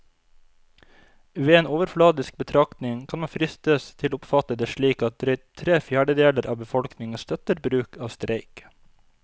Ved en overfladisk betraktning kan man fristes til å oppfatte det slik at drøyt tre fjerdedeler av befolkningen støtter bruk av streik.